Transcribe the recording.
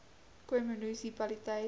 khoi munisi paliteit